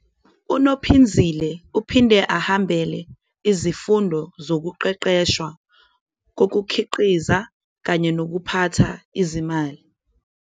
UNophinzile naye uthamela izifundo zokuqeqesha ze-production practices kanye ne-financial management.